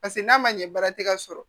Paseke n'a ma ɲɛ baara tɛ ka sɔrɔ